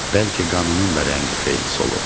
Bəlkə qanının da rəngi xeyli solub.